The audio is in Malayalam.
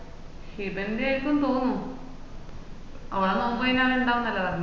ഹിബന്റെയ്ക്കൂ തോന്നുന്ന് ഓള നോമ്പ് കഴിഞ്ഞാ ഉണ്ടാവുന്ന പറഞ്ഞെ